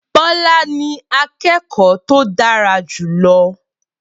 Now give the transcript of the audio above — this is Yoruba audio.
Bola ni akẹ́kọ̀ọ́ tó dára jù lọ